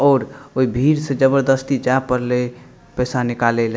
और ओय भीड़ से जबरदस्ती जाय पड़ले पैसा निकाले ले।